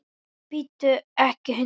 En bíttu ekki hundur!